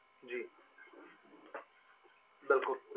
ਜੀ ਬਿਲਕੁਲ